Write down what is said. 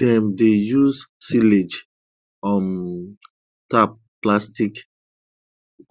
dem dey use silage um tarp plastic